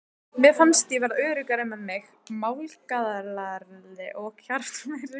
Mér fannst ég verða öruggari með mig, málglaðari og kjarkmeiri.